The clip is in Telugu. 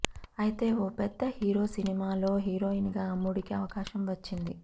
అయితే ఓ పెద్ద హీరో సినిమాలో హీరోయిన్ గా అమ్మడుకి అవకాశం వచ్చింది